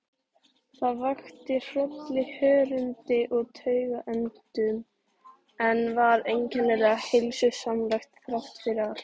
Það vakti hroll í hörundi og taugaendum, en var einkennilega heilsusamlegt þráttfyrir allt.